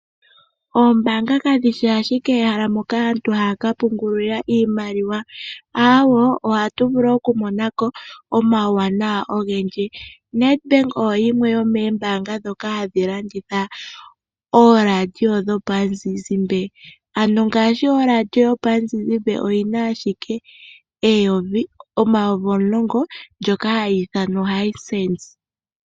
Oombaanga kadhishi ashike ehala moka aantu haaka pungulila iimaliwa aawo! Oha tu vulu oku monako omauwanawa ogendji, Nedbank oyo yimwe yomoombaanga ndhoka hadhi landitha ooradio dhopamuzizimbe. Ano ngashi oradio yopamuzizimbe oyina ashike omayovi omulongo ndjoka hayiithanwa oHisense.